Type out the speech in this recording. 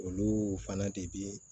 Olu fana de be